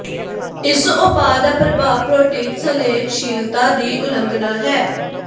ਇਸ ਉਪਾਅ ਦਾ ਪ੍ਰਭਾਵ ਪ੍ਰੋਟੀਨ ਸੰਲੇਨਸ਼ੀਲਤਾ ਦੀ ਉਲੰਘਣਾ ਹੈ